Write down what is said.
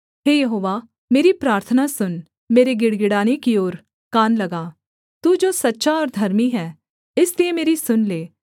हे यहोवा मेरी प्रार्थना सुन मेरे गिड़गिड़ाने की ओर कान लगा तू जो सच्चा और धर्मी है इसलिए मेरी सुन ले